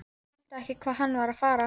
Skildi ekki hvað hann var að fara.